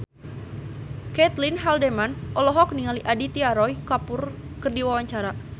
Caitlin Halderman olohok ningali Aditya Roy Kapoor keur diwawancara